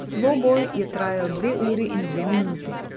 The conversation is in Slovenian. Dvoboj je trajal dve uri in dve minuti.